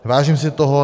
Vážím si toho.